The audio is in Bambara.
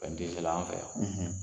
te se la an fɛ yan,